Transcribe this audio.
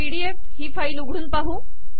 PDF ही file उघडून पाहू